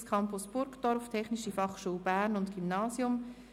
«Bildungscampus Burgdorf, Technische Fachschule Bern und Gymnasium.